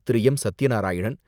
Thiru. M. Satya Narayanan,